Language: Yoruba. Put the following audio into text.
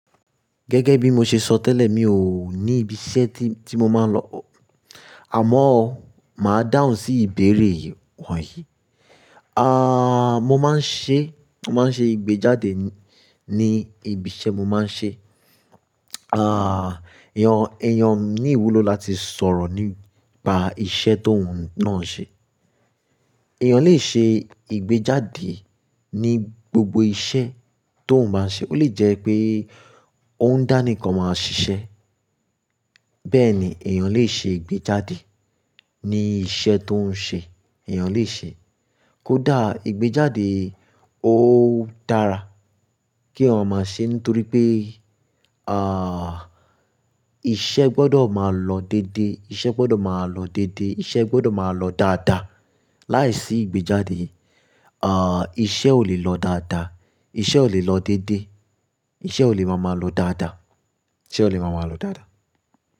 Gẹ́gẹ́ bí mo ṣe sọ tẹ́lẹ̀, mi ò ní ibi iṣẹ́ tí mo máa ń lọ. Àmọ́ o máa dáhùn sí ìbéèrè yii wọ̀nyí. Ah, mo máa ń ṣe, mo máa ń ṣe ìgbéjáde mi ni ibi iṣẹ́ mo máa ń ṣe. Ah, èèyàn, èèyàn ní ìwúlò láti sọ̀rọ̀ nípa iṣẹ́ tó ń náà ń ṣe. Ẹ̀yàn lè ṣe ìgbéjáde ní gbogbo iṣẹ́ tó ń bá ń ṣe. Ó lè jẹ́ pé ó ń dánìkàn máa ṣiṣẹ́. Bẹ́ẹ̀ ni èèyàn lè ṣe ìgbéjáde ní iṣẹ́ tó ń ṣe, èèyàn lè ṣe. Kódà ìgbéjáde ó dára kí èèyàn máa ṣe nítorí pé, ah, iṣẹ́ gbọ́dọ̀ máa lọ dédé, iṣẹ́ gbọ́dọ̀ máa lọ dédé, iṣẹ́ gbọ́dọ̀ máa lọ dáadáa. Láìsí ìgbéjáde, ah, iṣẹ́ ò lè lọ dáadáa, iṣẹ́ ò lè lọ dédé, iṣẹ́ ò lè máa máa lọ dáadáa, iṣẹ́ ò lè máa máa lọ dáadáa.